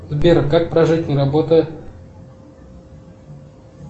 сбер как прожить не работая